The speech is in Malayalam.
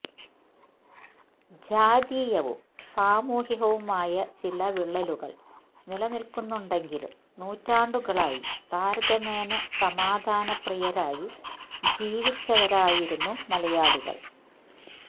ജാതീയവും സാമൂഹ്യവുമായ ചില വിള്ളലുകള് നിലനില്ക്കുന്നുണ്ടെങ്കിലും നൂറ്റാണ്ടുകളായി താരതമ്യേന സമാധാനപ്രിയരായി ജീവിച്ചവരായിരുന്നു മലയാളികള്